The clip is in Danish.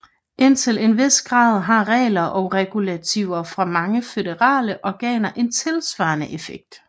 Indtil en vis grad har regler og regulativer fra mange føderale organer en tilsvarende effekt